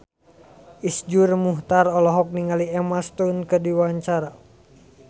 Iszur Muchtar olohok ningali Emma Stone keur diwawancara